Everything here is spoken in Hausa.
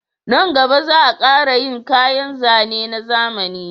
Nan gaba za a kara yin kayan zane na zamani